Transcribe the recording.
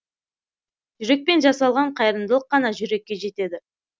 жүрекпен жасалған қайырымдылық қана жүрекке жетеді